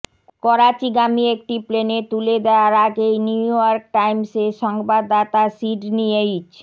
করাচীগামী একটি প্লেনে তুলে দেয়ার আগে নিউইয়র্ক টাইমসের সংবাদদাতা সিডনী এইচ